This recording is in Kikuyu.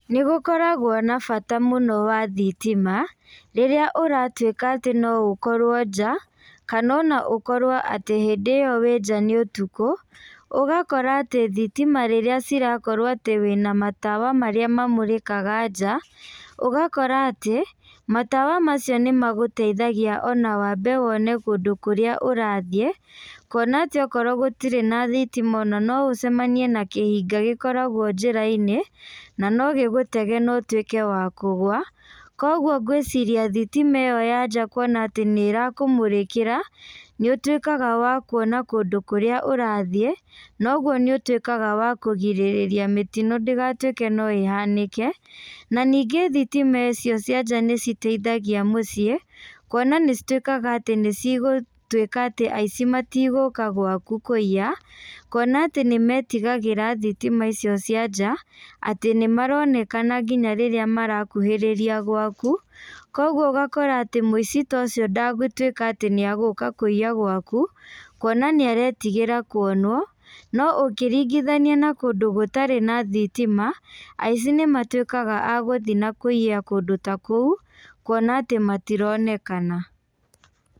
Nĩ gũkoragwo na bata mũno wa thitima, rĩrĩa ũratuĩka atĩ no ũkorwo nja, kana ona ũkorwo atĩ hĩndĩ ĩyo wĩ nja nĩ ũtukũ, ũgakora atĩ thitima rĩrĩa cirakorwo atĩ wĩna matawa marĩa mamũrĩkaga nja, ũgakora atĩ matawa macio nĩ magũteithagia ona wambe wone kũndũ kũrĩa ũrathiĩ, kuona atĩ okorwo gũtirĩ na thitima ona no ũcemanie na kĩhinga gĩkoragwo njĩra-inĩ, na no gĩgũtege na ũtuĩke wa kũgwa, kwoguo ngwĩciria thitima ĩyo ya nja kuona atĩ nĩ ĩrakũmũrĩkĩra, nĩ ũtuĩkaga wa kuona kũndũ kũrĩa ũrathiĩ, noguo nĩ ũtuĩkaga wa kũgirĩrĩria mĩtino ndĩgatuĩke no ĩhanĩke, na ningĩ thitima ĩcio cia nja nĩ citeithagia mũciĩ, kuona nĩ cituĩkaga atĩ nĩ cigũtuĩka atĩ aici matigũka gwaku kũiya, kuona atĩ nĩ metigagĩra thitima icio cia nja, atĩ nĩ maronekana nginya rĩrĩa marakuhĩrĩria gwaku, kwoguo ũgakora atĩ mũici ta ũcio ndegũtuĩka atĩ nĩ egũka kũiya gwaku, kuona nĩ aretigĩra kuonwo, no ũngĩringithania na kũndũ gũtarĩ na thitima, aici nĩ matuĩkaga agũthiĩ na kũiya kũndũ ta kũu, kuona atĩ matironekana.